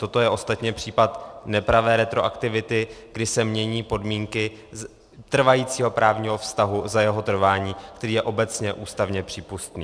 Toto je ostatně případ nepravé retroaktivity, kdy se mění podmínky trvajícího právního vztahu za jeho trvání, který je obecně ústavně přípustný.